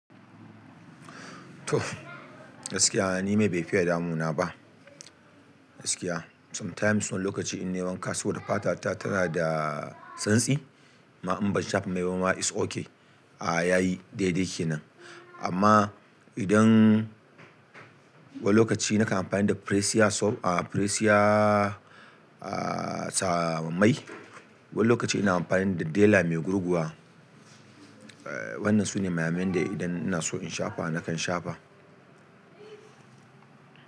Toh gaskiya ni mai bai fiye damuna ba, gaskiya sometimes wani lokaci in nai wanka saboda fata ta tana da santsi amma in ban shafa mai bama is ok ah yayi daidai kenan amma idan wani lokaci nakan amfani da Presia soap, a Presia a sawamai. Wani lokaci ina amfani da dela mai gurguwa. Eh wannan sune maya mayan da idan ina so in shafa nakan shafa.